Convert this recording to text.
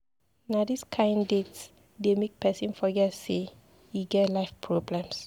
Na dis kain date dey make pesin forget sey e get life problems.